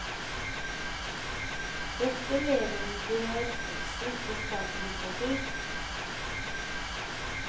Dette levendegjør teksten, det skaper litteratur.